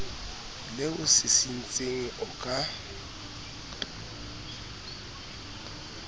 le o sisintseng o ka